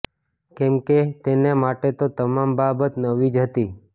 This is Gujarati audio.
કેમ કે તેને માટે તો તમામ બાબત નવી જ હતી